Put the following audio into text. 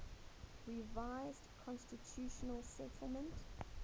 revised constitutional settlement